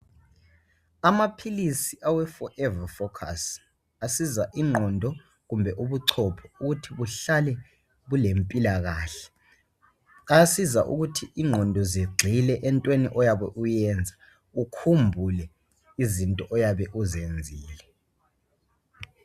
Amaphilisi awe Forever Focus asiza ingqondo, kumbe ubuchopho ukuthi buhlale bulempilakahle. Ayasiza ukuthi ingqondo zigxile entweni oyabe uyenza, ukhumbule izinto oyabe uzenzile.